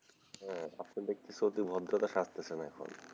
হম আপনি দেখতেছি এখন অতি ভদ্রতা আপনি সাজতেছে এখন,